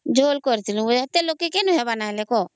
ଝୋଳ କରିଦେଲୁ ନହେଲେ ଏତେ ଲୋକ କେ କଣ ହେବ ନ !...